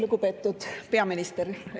Lugupeetud peaminister!